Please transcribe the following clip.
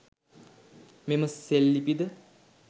මෙම සෙල්ලිපිද